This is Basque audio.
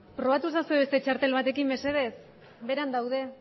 probatu ezazue beste txartel batekin mesedez beheran daude